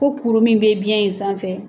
Ko kuru min bɛ biɲɛ in sanfɛ.